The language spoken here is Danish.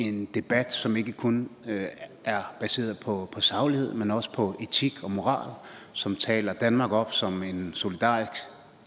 en debat som ikke kun er baseret på saglighed men også på etik og moral som taler danmark op som en solidarisk